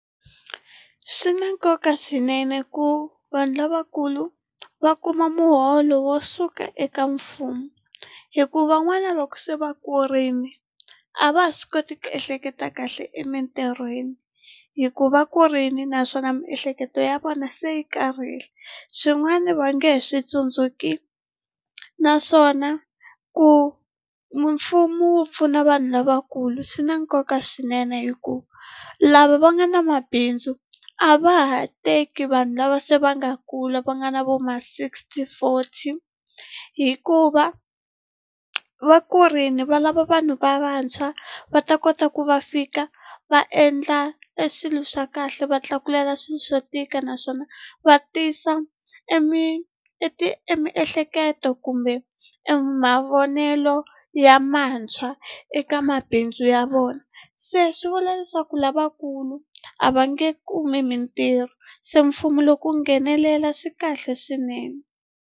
Swi na nkoka swinene ku vanhu lavakulu va kuma muholo wo suka eka mfumo hi ku van'wana loko se va kurini a va ha swi koti ku ehleketa kahle emitirhweni hi ku va kurini naswona miehleketo ya vona se yi karhele swin'wana va nge he swi tsundzuki naswona ku mfumo wu pfuna vanhu lavakulu swi na nkoka swinene hi ku lava va nga na mabindzu a va ha teki vanhu lava se va nga kula va nga na vo ma sixty forty hikuva vakurini valava vanhu va vantshwa va ta kota ku va fika va endla eswilo swa kahle va tlakulela swilo swo tika naswona va tisa e emiehleketo kumbe mavonelo ya mantshwa eka mabindzu ya vona se swi vula leswaku lavakulu a va nge kumi mitirho se mfumo loko wu nghenelela swi kahle swinene.